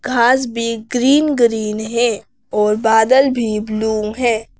घास भी green green है और बादल भी ब्लू है।